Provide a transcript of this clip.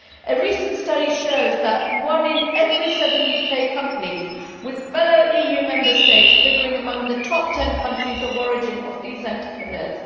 A recent study shows that migrants founded one in every seven UK companies, with fellow EU Member States figuring among the top 10 countries of origin of these entrepreneurs.